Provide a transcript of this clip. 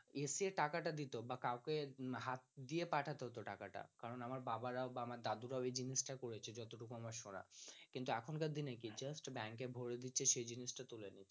আসে টাকাটা দিত বা কাউকে হাত দিয়ে পাঠাতে হত টাকাটা কারন আমার বাবারাও আমার দাদুরাও এই জিনিসটা করেছে যতটুকু আমার সোনা কিন্তু এখনকার দিনে কি হয় just bank এ ভারে দিচ্ছে সেই জিনিসটা তুলে নিচ্ছে